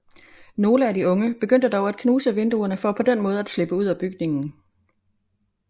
Nogle af de unge begyndte dog at knuse vinduerne for på den måde at slippe ud af bygningen